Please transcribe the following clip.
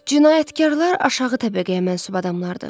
Cinayətkarlar aşağı təbəqəyə mənsub adamlardır.